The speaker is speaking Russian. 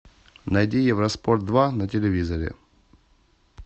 найди евроспорт два на телевизоре